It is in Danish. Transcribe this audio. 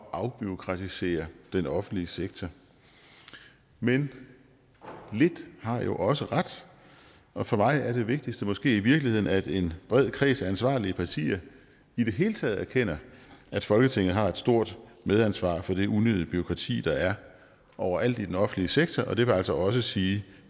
at afbureaukratisere den offentlige sektor men lidt har jo også ret og for mig er det vigtigste måske i virkeligheden at en bred kreds af ansvarlige partier i det hele taget erkender at folketinget har et stort medansvar for det unødige bureaukrati der er overalt i den offentlige sektor og det vil altså også sige